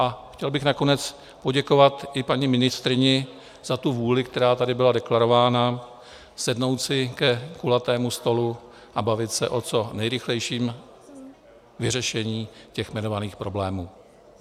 A chtěl bych nakonec poděkovat i paní ministryni za tu vůli, která tady byla deklarována, sednout si ke kulatému stolu a bavit se o co nejrychlejším vyřešení těch jmenovaných problémů.